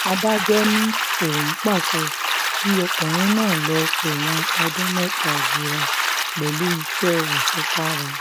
adájọ́ ni òun pàṣẹ kí ọkùnrin náà lọ́ọ́ um fẹ̀wọ̀n ọdún mẹ́ta jura um pẹ̀lú iṣẹ́ àṣekára